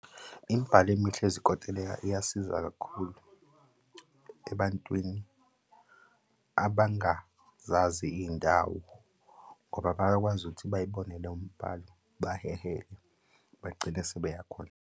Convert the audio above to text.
Imibhalo emihle yezikontileka iyasiza kakhulu ebantwini abangazazi iy'ndawo ngoba bayakwazi ukuthi bayibone leyo mbhalo baheheke bagcine sebeyakhona.